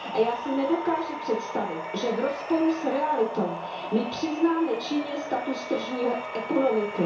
Já si nedokáži představit, že v rozporu s realitou my přiznáme Číně status tržní ekonomiky.